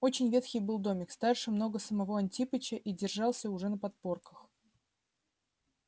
очень ветхий был домик старше много самого антипыча и держался уже на подпорках